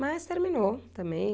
Mas terminou também.